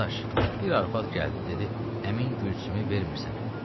Dadaş, bir arvad gəldi dedi, əmin gülçümü vermir sənə.